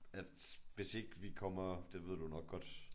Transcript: At hvis ikke vi kommer det ved du nok godt